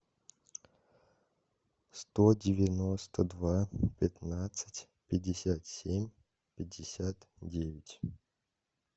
сто девяносто два пятнадцать пятьдесят семь пятьдесят девять